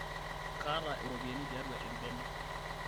kaata iropiani tiatua embene